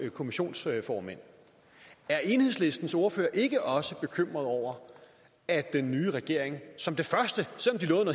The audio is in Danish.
kommissionsformænd er enhedslistens ordfører ikke også bekymret over at den nye regering som det første